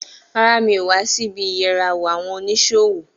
Rárá, mi ò wá sí ibí ìyẹrawò àwọn oníṣòwò